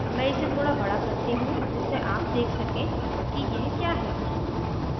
मैं इसे थोड़ा बड़ा करती हूँ जिससे आप let सकें कि यह क्या है